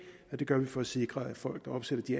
og det gør vi for at sikre at folk der opsætter de